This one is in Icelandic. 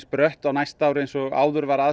brött á næsta ári eins og áður var